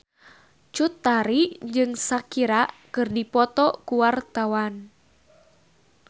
Cut Tari jeung Shakira keur dipoto ku wartawan